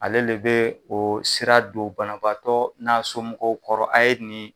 Ale le bɛ o sira don banabaatɔ n'a somɔgɔw kɔrɔ, a ye nin